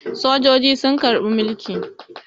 Sojoji sun karɓi mulki.